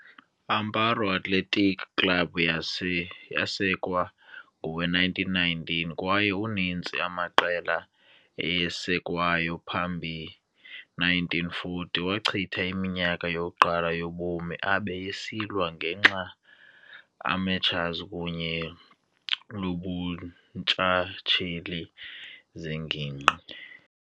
Amparo Athlético Club yase yasekwa ngowe-1919, kwaye uninzi amaqela eyasekwayo phambi 1940, wachitha iminyaka yokuqala yobomi abe esilwa ngenxa amateurs kunye lobuntshatsheli zengingqi.